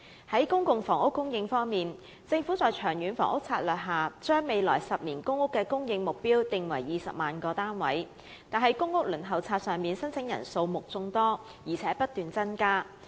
在公共房屋供應方面，政府在長遠房屋策略下，訂定未來10年公共租住房屋的供應目標為20萬個單位，但公屋輪候冊上的申請人數目眾多，並不斷增加。